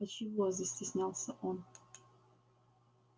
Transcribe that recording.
а чего застеснялся он